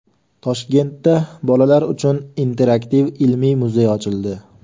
Toshkentda bolalar uchun interaktiv ilmiy muzey ochildi.